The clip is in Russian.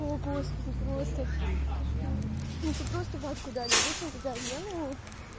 о господи просто кошмар мне ещё просто ватку дали обычно когда в вену